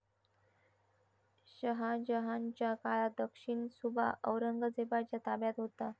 शहाजहानच्या काळात दक्षिणसुभा औरंगजेबाच्या ताब्यात होता.